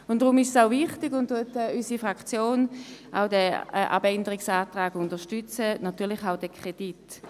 Deshalb unterstützt unsere Fraktion den Abänderungsantrag sowie den Kredit.